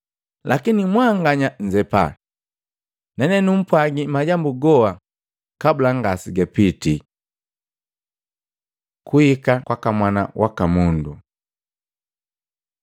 Lakini mwanganya nnzepa. Ne numpwagi majambu goa kabula ngasegapitii.” Kuhika kwaka Mwana waka Mundu Matei 24:29-31; Luka 21:25-28